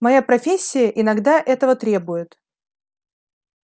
моя профессия иногда этого требует